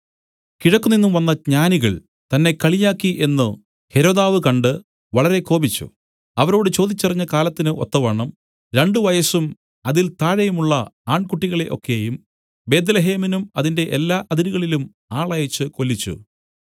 കിഴക്കുനിന്നും വന്ന ജ്ഞാനികൾ തന്നെ കളിയാക്കി എന്നു ഹെരോദാവ് കണ്ട് വളരെ കോപിച്ചു അവരോട് ചോദിച്ചറിഞ്ഞ കാലത്തിന് ഒത്തവണ്ണം രണ്ടു വയസ്സും അതിൽ താഴെയുമുള്ള ആൺകുട്ടികളെ ഒക്കെയും ബേത്ത്ലേഹേമിലും അതിന്റെ എല്ലാ അതിരുകളിലും ആളയച്ച് കൊല്ലിച്ചു